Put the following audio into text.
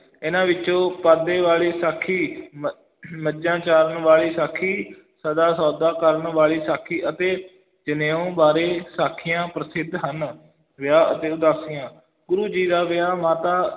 ਇਹਨਾਂ ਵਿੱਚੋਂ ਪਾਂਧੇ ਵਾਲੀ ਸਾਖੀ, ਮ~ ਮੱਝਾਂ ਚਾਰਨ ਵਾਲੀ ਸਾਖੀ ਸੱਚਾ ਸੌਦਾ ਕਰਨ ਵਾਲੀ ਸਾਖੀ ਅਤੇ ਜਨੇਊ ਬਾਰੇ ਸਾਖੀਆਂ ਪ੍ਰਸਿੱਧ ਹਨ, ਵਿਆਹ ਅਤੇ ਉਦਾਸੀਆਂ, ਗੁਰੂ ਜੀ ਦਾ ਵਿਆਹ ਮਾਤਾ